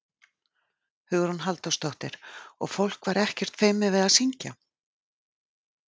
Hugrún Halldórsdóttir: Og fólk var ekkert feimið við að syngja?